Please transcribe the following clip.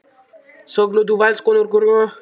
Söknuðu Valskonur hennar?